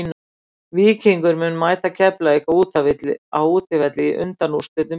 Víkingur mun mæta Keflavík á útivelli í undanúrslitum bikarsins.